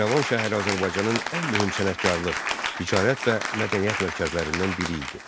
İrəvan şəhəri Azərbaycanın ən mühüm sənətkarlıq, ticarət və mədəniyyət mərkəzlərindən biri idi.